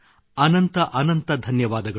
ಅನಂತ ಅನಂತ ಧನ್ಯವಾದಗಳು